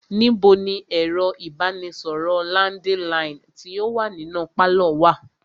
Níbo ni ẹ̀rọ ìbánisọ̀rọ̀ landiline tí o wá nínú pálọ̀ wa?